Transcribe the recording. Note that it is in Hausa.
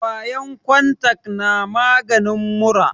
kwayan kontak na maganin mura